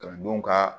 Kalandenw ka